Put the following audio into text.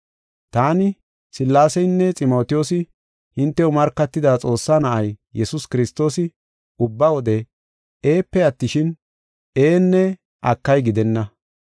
Taani, Sillaaseynne Ximotiyoosi hintew markatida Xoossaa Na7ay, Yesuus Kiristoosi ubba wode “Eepe” attishin, “Ee” nne “Akay” gidenna.